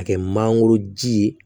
A kɛ mangoro ji ye